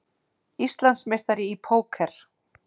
Íslandsmeistari í póker